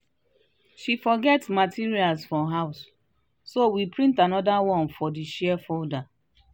she forget her materials for house so we print another one from the shared folder.